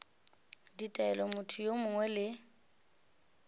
ditaelo motho yo mongwe le